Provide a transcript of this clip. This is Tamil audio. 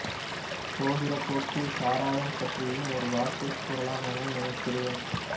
போகிற போக்கில் சாராயம் பற்றியும் ஒரு வார்த்தை கூறலாம் என நினைக்கிறேன்